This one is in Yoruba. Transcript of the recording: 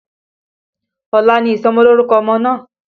Ọ̀la ni ìsọmọlórúkọ ọmọ náà